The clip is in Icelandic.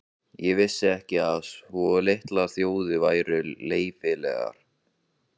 Ég vissi ekki að svo litlar þjóðir væru leyfilegar.